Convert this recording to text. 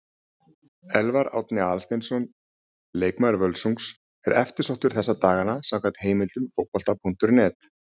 Elfar Árni Aðalsteinsson, leikmaður Völsungs, er eftirsóttur þessa dagana samkvæmt heimildum Fótbolta.net.